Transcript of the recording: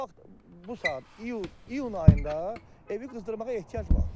Fakt bu saat iyun ayında evi qızdırmağa ehtiyac var.